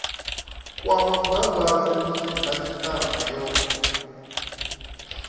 kwa mudagasi musi khasitama yo